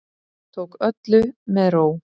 Tók öllu með ró